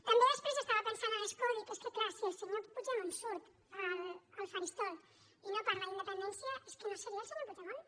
també després estava pensant a l’escó dic és que clar si el senyor puigdemont surt al faristol i no parla d’independència és que no seria el senyor puigdemont